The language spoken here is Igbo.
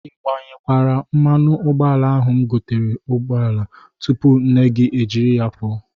Ị gbanyekwara mmanụ ụgbọala ahụ m gotere n'ụgbọala tupu nne gị e jiri ya pụọ?